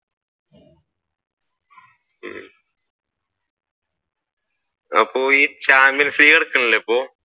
അപ്പൊ ഈ champions നടക്കുന്നില്ലേ ഇപ്പൊ?